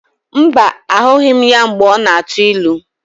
Mba, ahụghị m ya mgbe ọ na-atụ ilu.